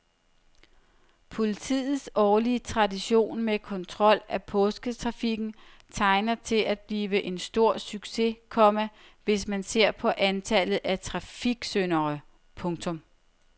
Politiets årlige tradition med kontrol af påsketrafikken tegner til at blive en stor succes, komma hvis man ser på antallet af trafiksyndere. punktum